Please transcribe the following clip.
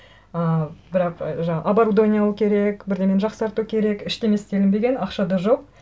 ыыы бірақ жаңа оборудование алу керек бірдеңені жақсарту керек ештеңе істелінбеген ақша да жоқ